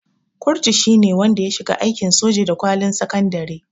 Kurutu shine wanda ya shiga aikin soja da kwalin sakandare